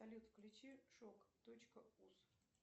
салют включи шок точка уз